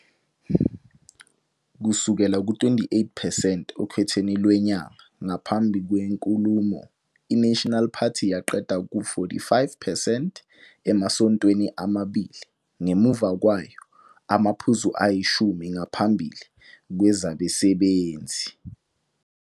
Kusukela ku-28 percent okhethweni lwenyanga ngaphambi kwenkulumo, iNational Party yeqa ku-45 percent emasontweni amabili ngemuva kwayo- amaphuzu ayishumi ngaphambi kwezabasebenzi.